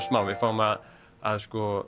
smá við fáum að að